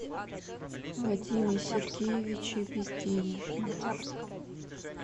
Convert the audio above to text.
вадиме сергеевиче безденежных